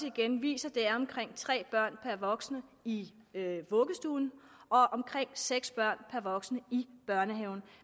igen viser at der er omkring tre børn per voksen i vuggestuerne og omkring seks børn per voksen i børnehaverne